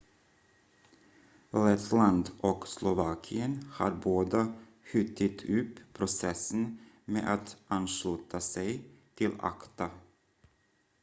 lettland och slovakien har båda skjutit upp processen med att ansluta sig till acta